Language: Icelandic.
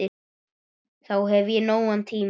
Þá hef ég nógan tíma.